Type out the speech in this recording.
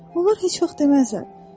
Onlar heç vaxt deməzlər: